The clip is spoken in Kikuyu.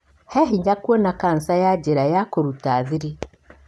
He hinya kuona cancer ya njira ya kũruta thiri.